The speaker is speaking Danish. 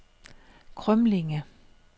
Krømlinge